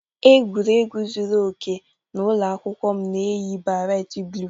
Egwuregwu zuru oke n'ụlọ akwụkwọ m na-eyi beret blue